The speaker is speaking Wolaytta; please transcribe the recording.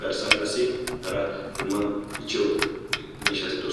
garssan qassi hara dumma dumma ichchiyoo miishshati de'oosona.